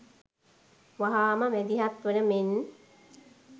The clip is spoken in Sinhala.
වහාම මැදිහත් වන මෙන්